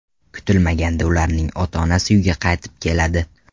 Kutilmaganda ularning ota-onasi uyga qaytib keladi.